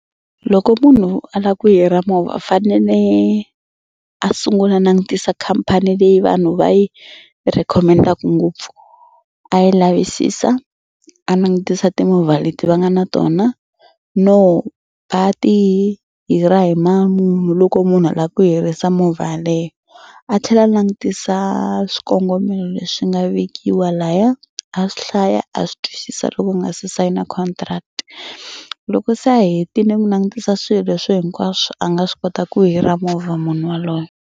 Loko munhu a lava ku hira movha fanele a sungula a langutisa khampani leyi vanhu va yi recommend-aka ngopfu. A yi lavisisa a langutisa timovha leti va nga na tona no va ti hira hi mali muni loko munhu a lava ku hirisa movha yaleyo. A tlhela a langutisa swikongomelo leswi nga vekiwa laya a swi hlaya a swi twisisa loko u nga se sayina contract. Loko se a hetile ku langutisa swilo leswi hinkwaswo a nga swi kota ku hira movha munhu waloye.